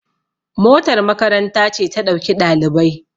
motar makaranta ce ta ɗauki ɗalibai